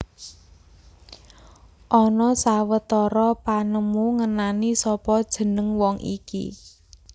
Ana sawetara panemu ngenani sapa jeneng wong iki